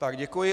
Tak, děkuji.